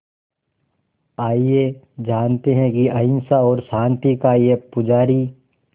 आइए जानते हैं कि अहिंसा और शांति का ये पुजारी